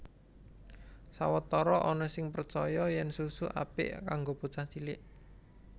Sawetara ana sing percaya yèn susu apik kanggo bocah cilik